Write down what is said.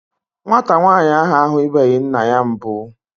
Nwata nwaanyị ahụ ahubeghi nna ya mbụ.